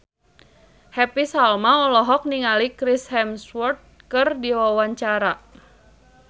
Happy Salma olohok ningali Chris Hemsworth keur diwawancara